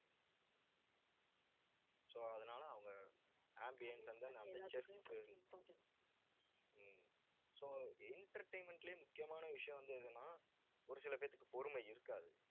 so அதனால அவங்க ambience வந்து, நான் ஹம் so entertainment லயே முக்கியமான விஷயம் வந்து, எதுன்னா ஒரு சில பேத்துக்கு பொறுமை இருக்காது